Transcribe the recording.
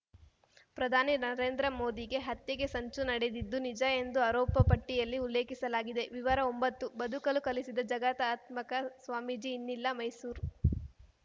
ಪ್ರಧಾನಿ ನರೇಂದ್ರ ಮೋದಿಗೆ ಹತ್ಯೆಗೆ ಸಂಚು ನಡೆದಿದ್ದು ನಿಜ ಎಂದು ಆರೋಪಪಟ್ಟಿಯಲ್ಲಿ ಉಲ್ಲೇಖಿಸಲಾಗಿದೆ ವಿವರ ಒಂಬತ್ತು ಬದುಕಲು ಕಲಿಸಿದ ಜಗದಾತ್ಮಾಕ ಸ್ವಾಮೀಜಿ ಇನ್ನಿಲ್ಲ ಮೈಸೂರು